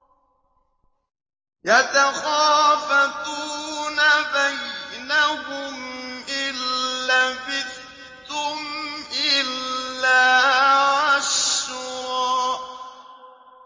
يَتَخَافَتُونَ بَيْنَهُمْ إِن لَّبِثْتُمْ إِلَّا عَشْرًا